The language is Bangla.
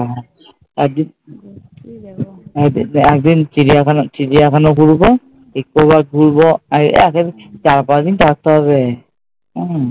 হ্যাঁ, একদিন একদিন চিড়িয়াখানা চিড়িয়াখানা ঘুরবো, eco park ঘুরবো আর এক চার পাঁচ দিন থাকতে হবে উম